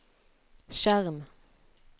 skjerm